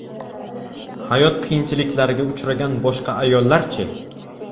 Hayot qiyinchiliklariga uchragan boshqa ayollar-chi?